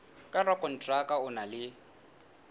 ka rakonteraka o na le